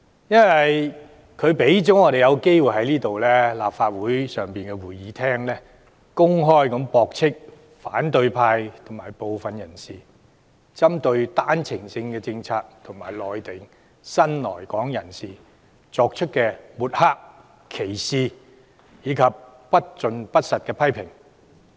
因為他讓我們有機會在立法會會議廳上公開駁斥，反對派及部分人士針對單程證政策及內地新來港人士作出的抹黑、歧視及不盡不實的批評。